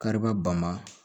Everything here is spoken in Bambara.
Kariba bama